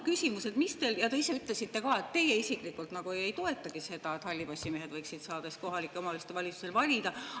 Te ise ütlesite ka, et teie isiklikult ei toeta seda, et hallipassimehed võiksid saada kohaliku omavalitsuse valimistel valida.